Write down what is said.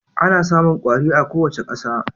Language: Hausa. Ana samun kwari a kowace ƙasa